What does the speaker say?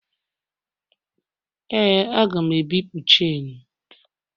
Ee, a ga m ebipụ chenu.